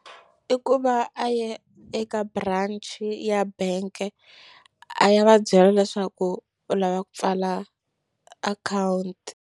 I ku va a ya eka branch ya bank-e a ya va byela leswaku u lava ku pfala akhawunti.